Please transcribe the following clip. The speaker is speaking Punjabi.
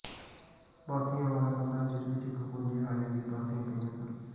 ਪਾਥੀਆਂ ਵਾਲਾ ਕਮਰਾ ਜਿਸ ਵਿੱਚ ਇੱਕ ਖੂੰਜੇ ਹਾਲੇ ਵੀ ਪਾਥੀਆਂ ਪਈਆਂ ਸਨ